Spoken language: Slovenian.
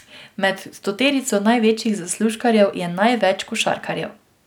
Med stoterico največjih zaslužkarjev je največ košarkarjev.